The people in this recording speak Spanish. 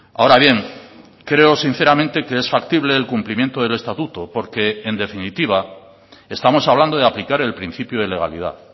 ahora bien creo sinceramente que es factible el cumplimiento del estatuto porque en definitiva estamos hablando de aplicar el principio de legalidad